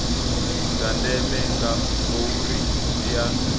dza ndeme ngauri dzi ea